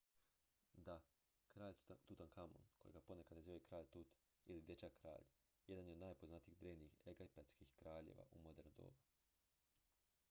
"da! kralj tutankamon kojega ponekad nazivaju "kralj tut" ili "dječak-kralj" jedan je od najpoznatijih drevnih egipatskih kraljeva u moderno doba.